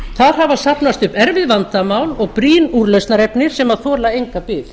þar hafa safnast upp erfið vandamál og brýn úrlausnarefni sem þola enga bið